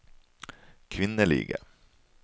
kvinnelige